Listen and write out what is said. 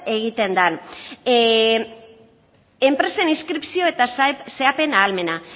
egiten den enpresen inskripzio eta xedapen ahalmena